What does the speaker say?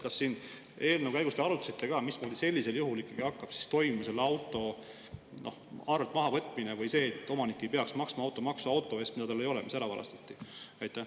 Kas eelnõu menetlemise käigus te arutasite ka, mis sellisel juhul hakkab toimuma: kas selle auto arvelt mahavõtmine või see, et omanik ei peaks maksma automaksu auto eest, mida tal ei ole, mis ära varastati?